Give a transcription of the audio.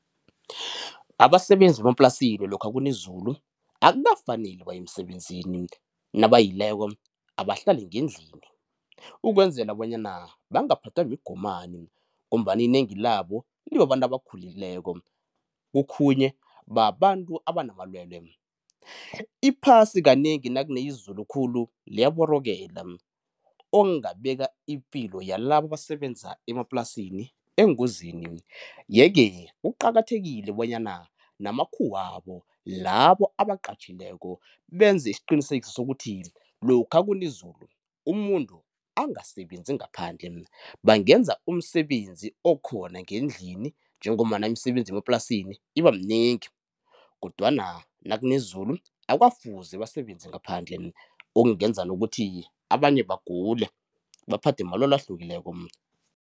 Abasebenzi bemaplasini lokha kuna izulu akukafaneli baye emsebenzini, nabayileko abahlale ngendlini ukwenzela bonyana bangaphathwa migomani ngombana inengi labo libabantu abakhulileko, okhunye babantu abanamalwelwe. Iphasi kanengi nakune izulu khulu liyaborokela, okungabeka ipilo yalabo abasebenza emaplasini engozini, yeke kuqathekile bonyana namakhuwabo labo abaqatjhileko benze isiqinisekiso sokuthi lokha nakuna izulu umuntu angasebenzi ngaphandle bangenza umsebenzi okhona ngendlini njengombana imisebenzi yemaplasini iba minengi kodwana nakune izulu akukafuzi basebenze ngaphandle okungenza nokuthi abanye bagule baphathwe malwelwe ahlukileko.